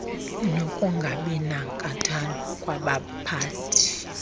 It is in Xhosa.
nokungabi nankathalo kwabaphathi